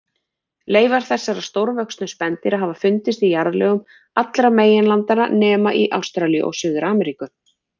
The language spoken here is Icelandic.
Leifar þessara stórvöxnu spendýra hafa fundist í jarðlögum allra meginlandanna nema í Ástralíu og Suður-Ameríku.